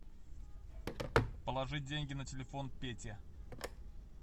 положить деньги на телефон пете